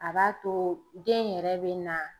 A b'a to den in yɛrɛ bɛ na